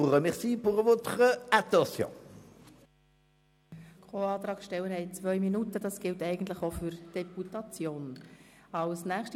Als nächste Co-Antragstellerin spricht Grossrätin Linder.